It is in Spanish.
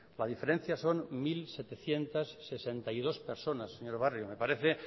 la diferencia son mil setecientos sesenta y dos personas señor barrio me parece